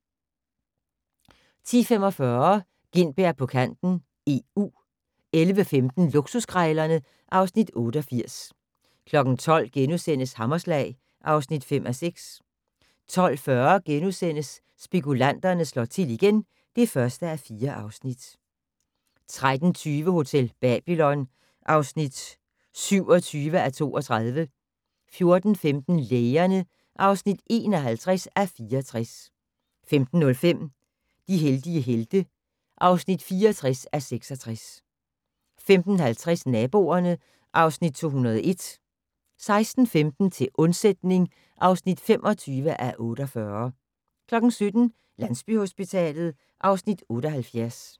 10:45: Gintberg på kanten - EU 11:15: Luksuskrejlerne (Afs. 88) 12:00: Hammerslag (5:6)* 12:40: Spekulanterne slår til igen (1:4)* 13:20: Hotel Babylon (27:32) 14:15: Lægerne (51:64) 15:05: De heldige helte (64:66) 15:50: Naboerne (Afs. 201) 16:15: Til undsætning (25:48) 17:00: Landsbyhospitalet (Afs. 78)